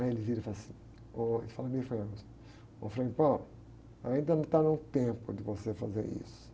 Aí ele vira e fala assim, ô, ele fala meio fanhão, assim, ôh, frei, ainda não está no tempo de você fazer isso.